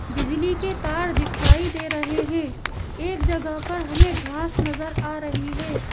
बिजली के तार दिखाई दे रहे हैं एक जगह पर हमें घास नजर आ रही है।